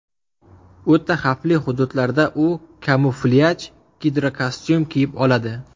O‘ta xavfli hududlarda u kamuflyaj gidrokostyum kiyib oladi.